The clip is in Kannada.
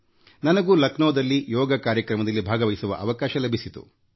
ನನಗೂ ಲಖನೌದಲ್ಲಿ ಯೋಗ ಕಾರ್ಯಕ್ರಮದಲ್ಲಿ ಭಾಗವಹಿಸುವ ಅವಕಾಶ ಲಭಿಸಿತು